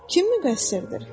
Kim müqəssirdir?